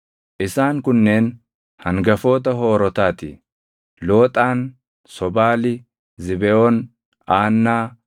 Isaan kunneen hangafoota Hoorotaa ti: Looxaan, Sobaali, Zibeʼoon, Aannaa,